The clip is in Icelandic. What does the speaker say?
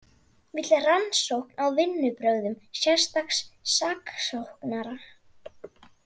Vill rannsókn á vinnubrögðum sérstaks saksóknara